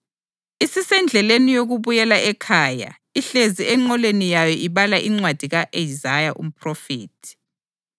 isisendleleni yokubuyela ekhaya ihlezi enqoleni yayo ibala incwadi ka-Isaya umphrofethi.